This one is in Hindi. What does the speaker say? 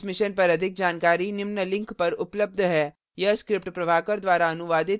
इस mission पर अधिक जानकारी निम्न लिंक पर उपलब्ध है